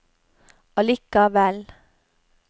allikevel